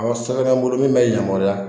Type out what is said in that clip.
Awɔ sɛbɛn bɛ n bolo min bɛ yamaruya